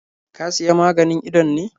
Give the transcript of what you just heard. Ka Siya maganin idon ne?